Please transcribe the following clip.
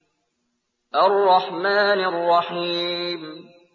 الرَّحْمَٰنِ الرَّحِيمِ